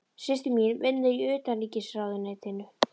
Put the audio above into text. Systir mín vinnur í Utanríkisráðuneytinu.